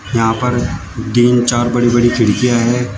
यहां पर तीन चार बड़ी बड़ी खिड़कियां हैं।